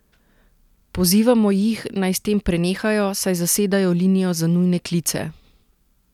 Pozivamo jih, naj s tem prenehajo, saj zasedajo linijo za nujne klice!